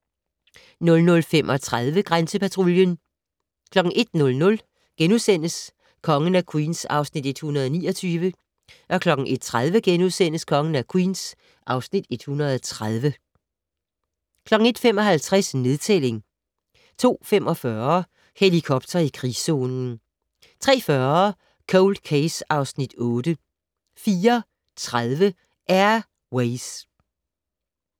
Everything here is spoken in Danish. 00:35: Grænsepatruljen 01:00: Kongen af Queens (Afs. 129)* 01:30: Kongen af Queens (Afs. 130)* 01:55: Nedtælling 02:45: Helikopter i krigszonen 03:40: Cold Case (Afs. 8) 04:30: Air Ways